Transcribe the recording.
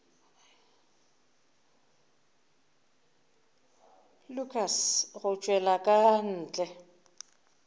lukas go tšwela ka ntle